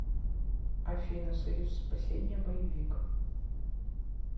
афина союз спасение боевик